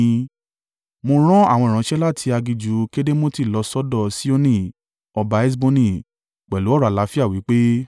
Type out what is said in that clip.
Mo rán àwọn ìránṣẹ́ láti aginjù Kedemoti lọ́ sọ́dọ̀ Sihoni ọba Heṣboni pẹ̀lú ọ̀rọ̀ àlàáfíà wí pé,